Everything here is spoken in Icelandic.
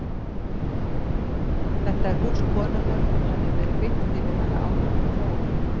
Þetta er hús konunnar og hafði verið byggt yfir hana áður en hún fór.